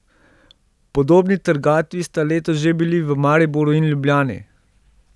Podobni trgatvi sta letos že bili v Mariboru in Ljubljani.